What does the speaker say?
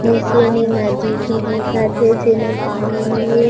नीचे में नदी भी दिखत हे जेमा पानी भी हे।